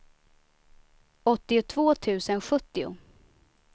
åttiotvå tusen sjuttio